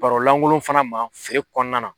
Barolankolon fana ma feere kɔnɔna na